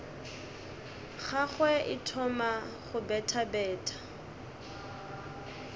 gagwe e thoma go bethabetha